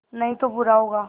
नहीं तो बुरा होगा